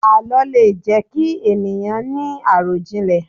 Àlọ́ lè jẹ ki ènìyàn ni arọjinlẹ